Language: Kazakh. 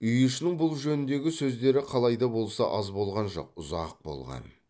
үй ішінің бұл жөніндегі сөздері қалай да болса аз болған жоқ ұзақ болған